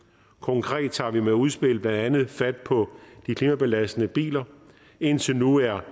konkret tager vi med udspillet blandt andet fat på de klimabelastende biler indtil nu er